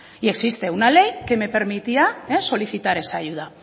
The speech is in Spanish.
y existe una ley que me permitía solicitar esa ayuda